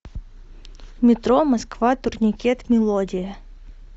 метро москва турникет мелодия